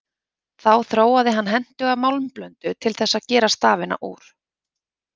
Þá þróaði hann hentuga málmblöndu til þess að gera stafina úr.